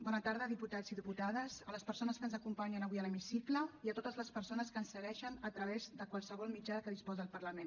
bona tarda diputats i diputades a les persones que ens acompanyen avui a l’hemicicle i a totes les persones que ens segueixen a través de qualsevol mitjà de què disposa el parlament